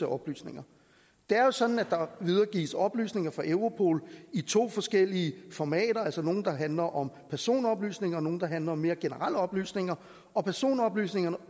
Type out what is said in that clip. oplysninger det er jo sådan at der videregives oplysninger fra europol i to forskellige formater nogle der handler om personoplysninger og nogle der handler om mere generelle oplysninger og personoplysninger